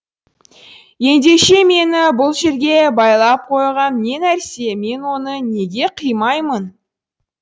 ендеше мені бұл жерге байлап қойған не нәрсе мен оны неге қимаймын